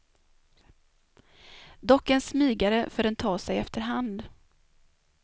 Dock en smygare för den tar sig efter hand.